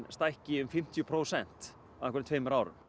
stækki um fimmtíu prósent á einhverjum tveimur árum